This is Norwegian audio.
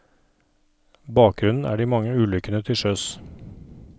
Bakgrunnen er de mange ulykkene til sjøs.